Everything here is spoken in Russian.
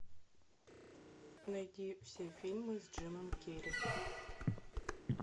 найди все фильмы с джимом керри